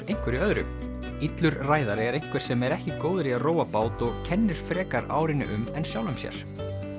einhverju öðru illur ræðari er einhver sem er ekki góður í að róa bát og kennir frekar árinni um en sjálfum sér